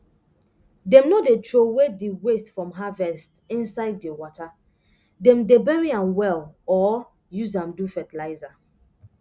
dem no dey troway di waste from harvest inside di wata dem dey bury am well or use am do fertilizer